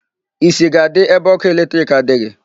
Isi ga-adi ébé ọkụ electric adịghị.